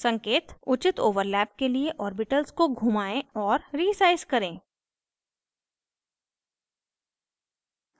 संकेत: उचित overlap के लिए ऑर्बिटल्स को घुमाएं और resize करें